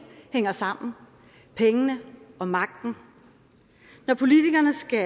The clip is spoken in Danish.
hænger sammen pengene og magten når politikerne skal